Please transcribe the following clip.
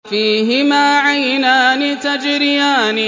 فِيهِمَا عَيْنَانِ تَجْرِيَانِ